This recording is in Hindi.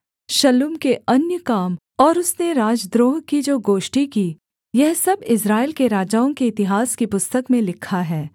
शल्लूम के अन्य काम और उसने राजद्रोह की जो गोष्ठी की यह सब इस्राएल के राजाओं के इतिहास की पुस्तक में लिखा है